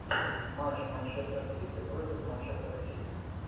матч манчестер сити против манчестер сити